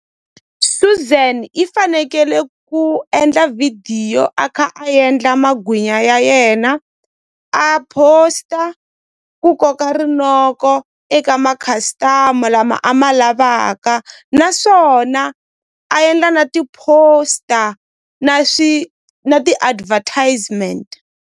Suzan i fanekele ku endla vhidiyo a kha a endla magwinya ya yena a post-a ku koka rinoko eka ma-customer lama a ma lavaka naswona a endla na ti-poster na na ti-advertisement.